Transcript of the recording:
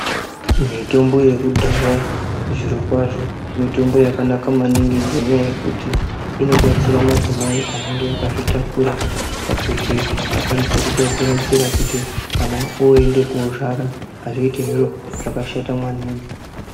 Mitombo yekudhaya zvirokwazvo mitombo yakanaka maningi ngenyaya yekuti inobatsira madzimai anenge akazvitakura pakuti akwanise kugadzira nzira kuti kana oende kozvara hazviiti zviro zvakashata mwana..